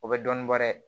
O bɛ dɔɔnin bɔ dɛ